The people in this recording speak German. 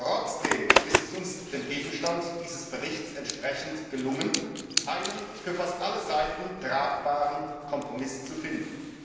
Trotzdem ist es uns dem Gegenstand dieses Berichts entsprechend gelungen, einen für fast alle Seiten tragbaren Kompromiss zu finden.